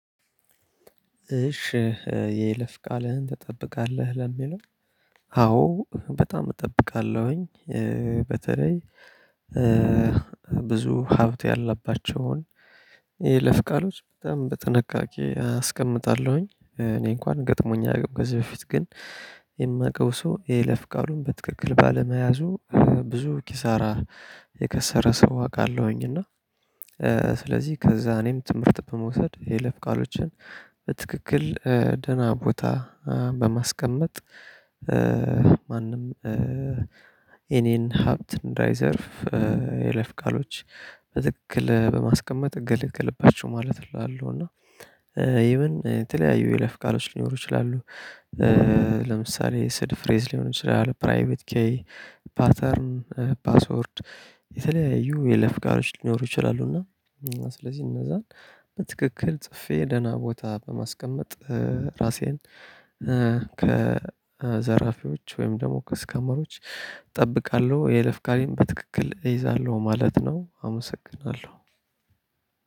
እሺ የይለፍ ቃልህን ትጠብቃለህ ለሚለው አዎ በጣም እጠብቃለሁኝ። በተለይ ብዙ ሀብት ያለባቸውን የይለፍ ቃሎች በጣም በጥንቃቄ አስቀምጣለሁኝ። እኔ እንኳን ገጥሞኝ አያቅም ከዚህ በፊት ግን የማውቀው ሰው የለፍ ቃሉን በትክክል ባለመያዙ ብዙ ኪሳራ የከሰረ ሰው አውቃለሁኝ። እና ስለዚህ ከዛ እኔም ትምህርት በመውሰድ የለፍ ቃሎችን በትክክል ደህና ቦታ በማስቀመጥ። ማንም የኔን ሀብት እንዳይዘርፍ የይለፍ ቃሎች በትክክል በማስቀመጥ እገለገልባቸው ማለት እላለሁ። እና ይሄን የተለያዩ የለፍ ቃሎች ሊኖሩ ይችላሉ። ለምሳሌ ስድ ፍሬዝ ሊሆን ይችላል ፕራይቬት ኬይ ፓተርን ፓስወርድ የተለያዩ የይለፍ ቃሎች ሊኖሩ ይችላሉ። እና ስለዚህ እነዛን በትክክል ጽፌ ደህና ቦታ በማስቀመጥ ራሴን ከዘራፊዎች ወይም ደግሞ ከስካመሮች እጠብቃለሁ። የይለፍ ቃልን በትክክል እይዛለሁ ማለት ነው አመሰግናለሁ።